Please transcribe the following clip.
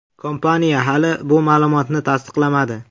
Kompaniya hali bu ma’lumotni tasdiqlamadi.